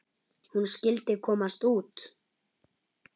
Hún skyldi komast út!